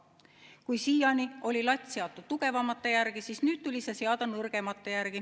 Kui siiani oli latt seatud tugevamate järgi, siis nüüd tuli see seada nõrgemate järgi.